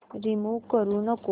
remove करू नको